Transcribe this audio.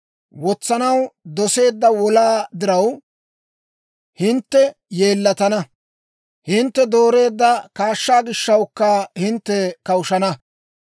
Wotsanaw doseedda wolaa diraw, hintte yeellatana; hintte dooreedda kaashshaa gishshawukka hintte kawushshana.